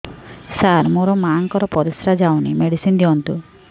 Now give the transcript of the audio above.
ସାର ମୋର ମାଆଙ୍କର ପରିସ୍ରା ଯାଉନି ମେଡିସିନ ଦିଅନ୍ତୁ